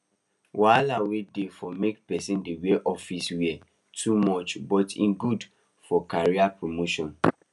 wahala wey dey for make person dey wear office wear too much but e good for career promotion